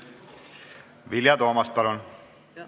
Vilja Toomast, palun!